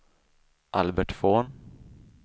Albert Von